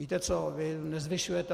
Víte co - vy nezvyšujete.